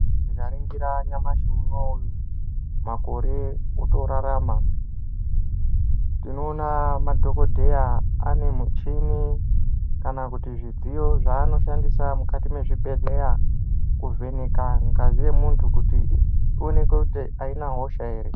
Tika ringira nyamashi unowu makore oto rarama tinoona madhokodheya ane muchini kana kuti zvidziyo zva anoshandisa mukati me zvibhedhleya ku vheneka ngazi ye muntu kuti i oneke kuti ayina hosha ere.